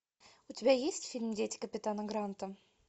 у тебя есть фильм дети капитана гранта